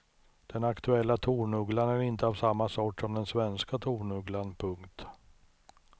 Den aktuella tornugglan är inte av samma sort som den svenska tornugglan. punkt